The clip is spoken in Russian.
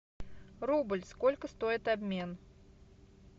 рубль сколько стоит обмен